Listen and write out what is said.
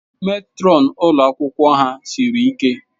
Matron ụlọ akwụkwọ ha siri ike.